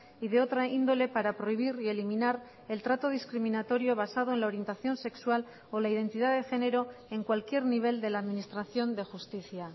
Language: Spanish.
y de otra índole para prohibir y eliminar el trato discriminatorio basado en la orientación sexual o la identidad de género en cualquier nivel de la administración de justicia